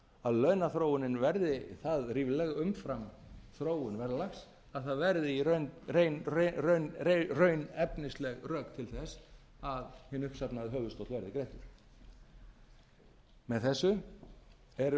að launaþróunin verði það rífleg umfram þróun verðlags að það verði í raun efnisleg rök til þess að hinn uppsafnaði höfuðstóll verði greiddur með þessu erum